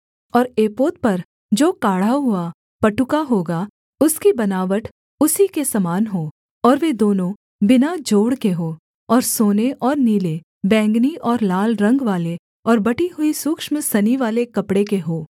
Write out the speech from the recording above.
और एपोद पर जो काढ़ा हुआ पटुका होगा उसकी बनावट उसी के समान हो और वे दोनों बिना जोड़ के हों और सोने और नीले बैंगनी और लाल रंगवाले और बटी हुई सूक्ष्म सनीवाले कपड़े के हों